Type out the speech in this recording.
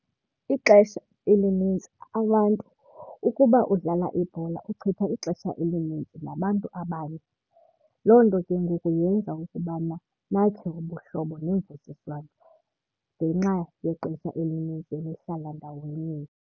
Ixesha elinintsi abantu ukuba udlala ibhola uchitha ixesha elinintsi nabantu abanye. Loo nto ke ngoku yenza ukubana nakhe ubuhlobo nemvisiswano ngenxa yexesha elinintsi nihlala ndaweninye.